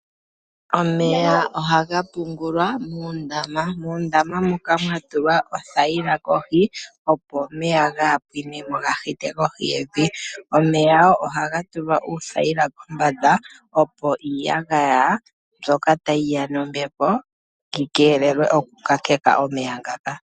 Omeya ohaga pungulwa moondama. Moondama moka ohamu tulwa oothayila opo omeya kaga pwinemo nosho woo opo kaga vule okuya kohi geevi. Oondama ohadhi tulwa oothayila kombanda opo kuyandwe iiyagaya opo kayi yemo mondama yomey.